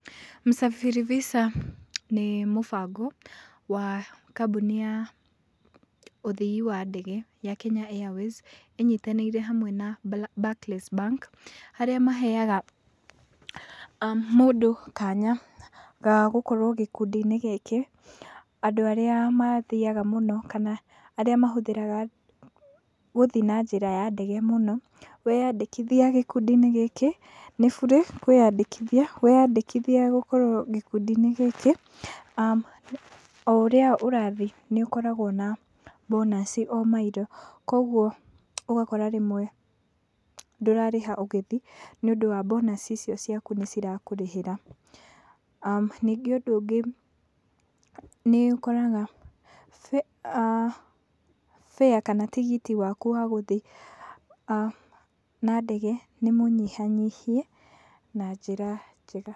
Msafiri Visa nĩ mũbango wa kambuni ya ũthii wa ndege ya Kenya Airways ĩnyitanĩire hamwe na Barclays Bank harĩa maheaga mũndũ kanya ga gũkorwo gĩkundi-inĩ gĩkĩ. Andũ arĩa mathiaga mũno kana arĩa mahũthĩraga gũthiĩ na njĩra ya ndege mũno, weandĩkithia gĩkundi-inĩ gĩkĩ, nĩ burĩ kwĩandĩkithia. Weandĩkithia gũkorwo gĩkũndi-inĩ gĩkĩ, o ũrĩa ũrathiĩ nĩ ũkoragwo na bonus o mile. Koguo ũgakora rĩmwe ndũrarĩha ũgĩthiĩ nĩ ũndũ wa bonus icio ciaku cirakũrĩhĩra. Ningĩ ũndũ ũngĩ nĩ ũgakora fare kana tigiti waku wa gũthiĩ na ndege nĩ mũnyihanyihie na njĩra njega.